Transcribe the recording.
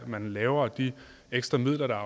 man laver og de ekstra midler der er